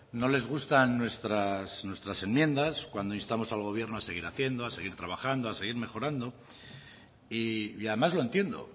no les gustan nuestras enmiendas cuando instamos al gobierno a seguir haciendo a seguir trabajando a seguir mejorando y además lo entiendo